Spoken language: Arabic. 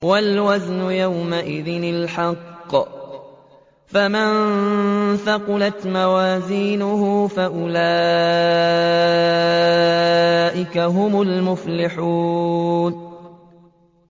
وَالْوَزْنُ يَوْمَئِذٍ الْحَقُّ ۚ فَمَن ثَقُلَتْ مَوَازِينُهُ فَأُولَٰئِكَ هُمُ الْمُفْلِحُونَ